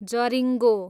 जरिङ्गो